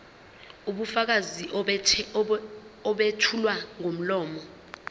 ubufakazi obethulwa ngomlomo